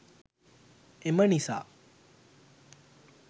එම නිසා